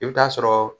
I bɛ taa sɔrɔ